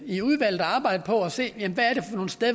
i udvalget at arbejde på at se